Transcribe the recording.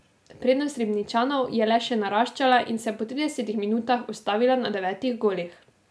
Prednost Ribničanov je le še naraščala in se po tridesetih minutah ustavila na devetih golih.